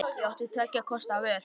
Ég átti tveggja kosta völ.